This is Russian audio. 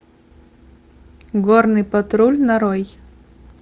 горный патруль нарой